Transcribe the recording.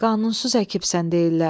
Qanunsuz əkibsən, deyirlər.